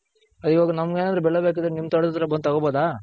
ಇವಾಗ ನಮ್ಗೆನಾದ್ರು ಬೆಳೆ ಬೇಕಂದ್ರೆ ನಿಮ್ ತೋಟದತ್ರ ಬಂದ್ ತಗೊಂಡ್ ಬೋದ .